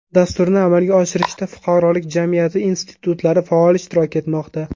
Dasturni amalga oshirishda fuqarolik jamiyati institutlari faol ishtirok etmoqda.